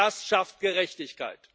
Nur das schafft Gerechtigkeit.